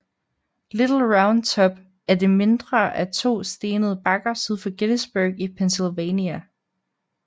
Little Round Top er det mindre af to stenede bakker syd for Gettysburg i Pennsylvania